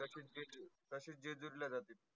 तशिचं जेजुरीला जाते.